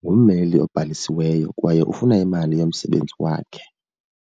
ngummeli obhalisiweyo kwaye ufuna imali yomsebenzi wakhe.